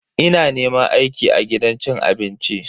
Ina neman aiki a gidan cin abinci.